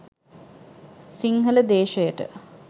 Sinhala දේශයට